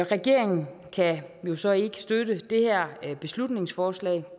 regeringen kan jo så ikke støtte det her beslutningsforslag